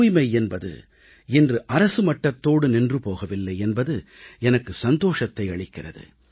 தூய்மை என்பது இன்று அரசு மட்டத்தோடு நின்று போகவில்லை என்பது எனக்கு சந்தோஷத்தை அளிக்கிறது